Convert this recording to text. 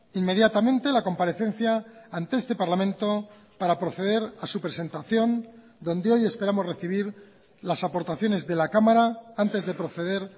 inmediatamente la comparecencia ante este parlamento para proceder a su presentación donde hoy esperamos recibir las aportaciones de la cámara antes de proceder